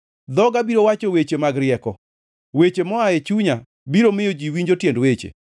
Dhoga biro wacho weche mag rieko, weche moa e chunya biro miyo ji winjo tiend weche.